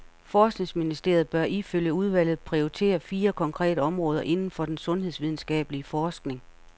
Forskningsministeriet bør ifølge udvalget prioritere fire konkrete områder inden for den sundhedsvidenskabelige forskning.